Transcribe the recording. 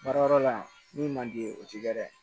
Baarayɔrɔ la min man di o tɛ dɛ